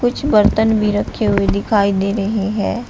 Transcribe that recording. कुछ बर्तन भी रखे हुए दिखाई दे रहे हैं।